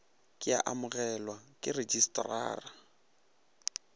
ke ya amogelwa ke rejistrara